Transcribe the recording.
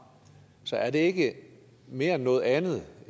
så er det ikke mere end noget andet